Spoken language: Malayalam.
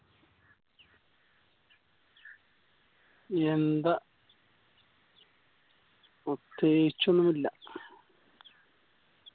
എന്താ പ്രത്യേകിച്ച് ഒന്നുല്ല